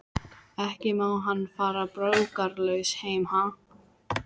Ekki má hann fara brókarlaus heim, ha?